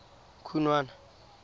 khunwana